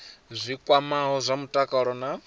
zwi kwamaho zwa mutakalo na